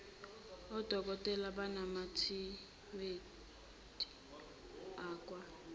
odokotela bamanethiwekhi akwa